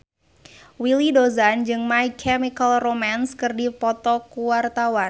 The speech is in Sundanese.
Willy Dozan jeung My Chemical Romance keur dipoto ku wartawan